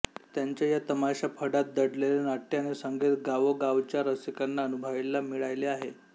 त्यांच्या या तमाशाफडात दडलेले नाट्य आणि संगीत गावोगावच्या रसिकांना अनुभवायला मिळाले आहे